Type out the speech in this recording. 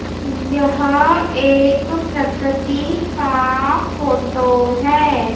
यहा एक प्रकृति का फोटो है।